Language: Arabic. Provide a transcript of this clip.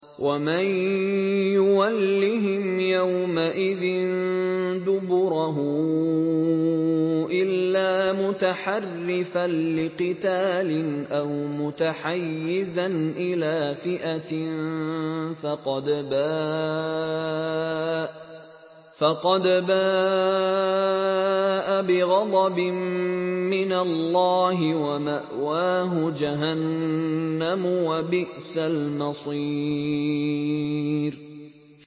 وَمَن يُوَلِّهِمْ يَوْمَئِذٍ دُبُرَهُ إِلَّا مُتَحَرِّفًا لِّقِتَالٍ أَوْ مُتَحَيِّزًا إِلَىٰ فِئَةٍ فَقَدْ بَاءَ بِغَضَبٍ مِّنَ اللَّهِ وَمَأْوَاهُ جَهَنَّمُ ۖ وَبِئْسَ الْمَصِيرُ